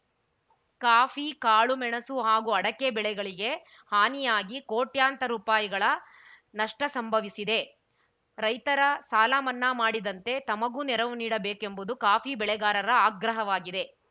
coffee ಕಾಳು ಮೆಣಸು ಹಾಗೂ ಅಡಕೆ ಬೆಳೆಗಳಿಗೆ ಹಾನಿಯಾಗಿ ಕೋಟ್ಯಂತರ ರುಪಾಯಿ ನಷ್ಟಸಂಭವಿಸಿದೆ ರೈತರ ಸಾಲ ಮನ್ನಾ ಮಾಡಿದಂತೆ ತಮಗೂ ನೆರವು ನೀಡಬೇಕೆಂಬುದು ಕಾಫಿ ಬೆಳೆಗಾರರ ಆಗ್ರಹವಾಗಿದೆ